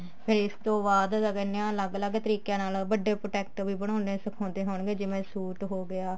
ਫ਼ੇਰ ਇਸ ਤੋਂ ਬਾਅਦ ਕਿਆ ਕਹਿੰਦੇ ਹਾਂ ਅਲੱਗ ਅਲੱਗ ਤਰੀਕਿਆਂ ਨਾਲ ਕਿਆ ਕਹਿਨੇ ਆਂ ਵੱਡੇ product ਵੀ ਬਣਾਉਣੇ ਸਿਖਾਉਂਦੇ ਹੋਣਗੇ ਜਿਵੇਂ ਸੂਟ ਹੋਗਿਆ